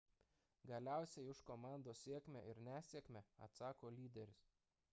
galiausiai už komandos sėkmę ir nesėkmę atsako lyderis